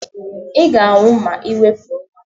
Ị ga-anwụ ma Ị wepụ nwa a!